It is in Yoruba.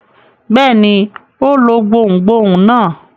Bẹ́ẹ̀ ni, ó lo gbohùngbohùn náà.